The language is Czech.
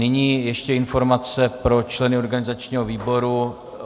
Nyní ještě informace pro členy organizačního výboru.